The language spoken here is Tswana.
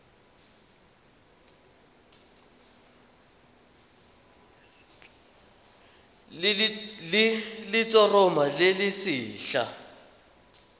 le letshoroma le le setlha